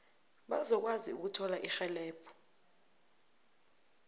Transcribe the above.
bazokwazi ukuthola irhelebho